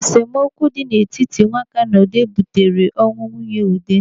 Esemokwu dị n'etiti Nwaka na Ude butere ọnwụ nwunye Ude.